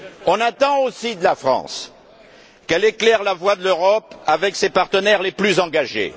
On attend aussi de la France qu'elle éclaire la voie de l'Europe avec ses partenaires les plus engagés.